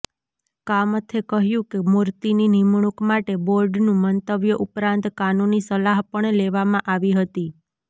કામથે કહ્યું કે મૂર્તિની નિમણૂંક માટે બોર્ડનું મંતવ્ય ઉપરાંત કાનૂની સલાહ પણ લેવામાં આવી હતી